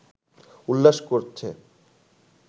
উল্লাস করছে